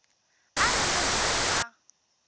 a ri munhu loyi a